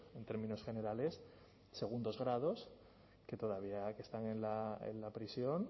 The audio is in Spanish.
en términos generales segundos grados que todavía están en la prisión